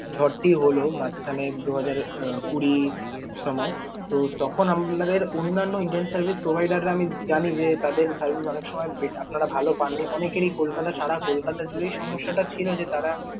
ঝড়টি হল মাঝখানে দু হাজার কুড়ির সময়, তো তখন আপনাদের অন্যান্য internet service provider রা আমি জানি যে তাদের service অনেকসময় আপনারা ভাল পাননি। অনেকরই কলকাতা সারা কলকাতা জুড়েই এই সমস্যা টা ছিল যে তারা